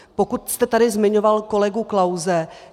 Pokud jste tady zmiňoval kolegu Klause.